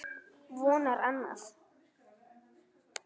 Vonar annað.